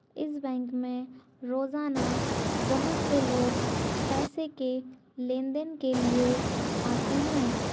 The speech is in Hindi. इस बैंक मे रोज़ाना बहोत से लोग पैसे के लेन देन के लिए आते है।